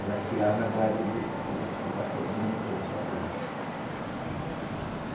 Ela tirava gado do do do ba, do motor, do batelão.